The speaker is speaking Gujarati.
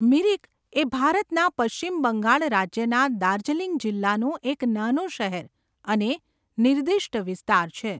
મિરિક એ ભારતના પશ્ચિમ બંગાળ રાજ્યના દાર્જિલિંગ જિલ્લાનું એક નાનું શહેર અને નિર્દિષ્ટ વિસ્તાર છે.